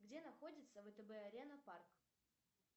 где находится втб арена парк